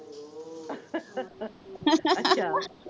ਅੱਛਾ